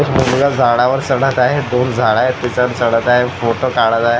मुलगा झाडावर चढत आहे खूप झाडं आहेत त्याच्यावर चढत आहे फोटो काढत आहे.